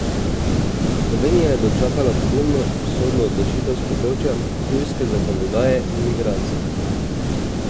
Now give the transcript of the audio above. Slovenija je dočakala pogumno sodno odločitev s področja tujske zakonodaje in migracij!